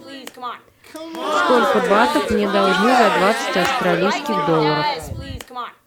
сколько батов мне должны за двадцать австралийских долларов